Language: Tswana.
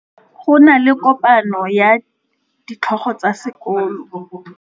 Go na le kopanô ya ditlhogo tsa dikolo ya tlhaloso ya popêgô ya melao ya dikolo.